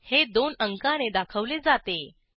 हे दोन अंकाने दाखवले जाते